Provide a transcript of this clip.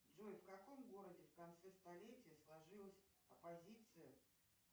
джой в каком городе в конце столетия сложилась оппозиция